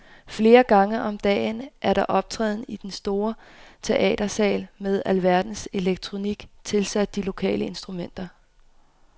Flere gange om dagen er der optræden i en stor teatersal med alverdens elektronik tilsat de lokale instrumenter.